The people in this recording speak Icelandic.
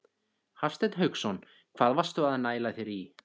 Hafsteinn Hauksson: Hvað varstu að næla þér í?